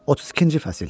32-ci fəsil.